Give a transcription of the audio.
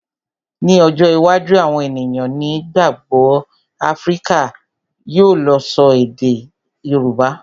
Ní ọjọ́ iwájú, àwọn ènìyàn ní gbogbo Áfíríkà yóò lè ṣọ èdè Yorùbá.